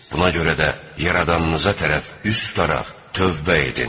Buna görə də Yaradanınıza tərəf üz tutaraq tövbə edin.